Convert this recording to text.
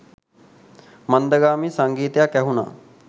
මන්දගාමී සංගීතයක් ඇහුණා